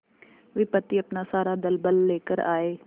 विपत्ति अपना सारा दलबल लेकर आए